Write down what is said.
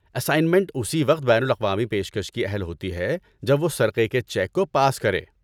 Assignment اسی وقت بین الاقوامی پیشکش کی اہل ہوتی ہے جب وہ سرقے کے چیک کو پاس کرے۔